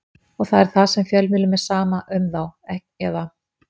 Og það er það sem fjölmiðlum er sama um þá eða?